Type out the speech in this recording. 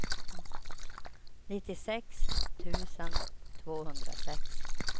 nittiosex tusen tvåhundrasex